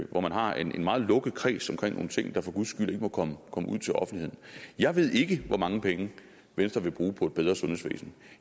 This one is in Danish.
hvor man har en meget lukket kreds omkring nogle ting der for guds skyld ikke må komme ud til offentligheden jeg ved ikke hvor mange penge venstre vil bruge på et bedre sundhedsvæsen